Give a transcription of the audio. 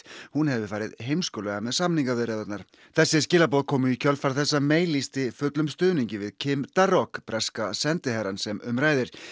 hún hefði farið heimskulega með samningaviðræðurnar þessi skilaboð komu í kjölfar þess að lýsti fullum stuðningi við Kim Darroch breska sendiherrann sem um ræðir